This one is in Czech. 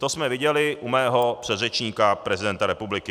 To jsme viděli u mého předřečníka, prezidenta republiky.